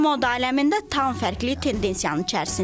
Bu gün moda aləmində tam fərqli tendensiyanın içərisindəyik.